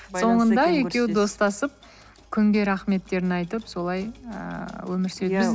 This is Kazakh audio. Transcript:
соңында екеуі достасып күнге рахметтерін айтып солай ыыы өмір